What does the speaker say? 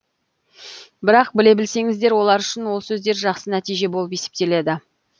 бірақ біле білсеңіздер олар үшін ол сөздер жақсы нәтиже болып есептеледі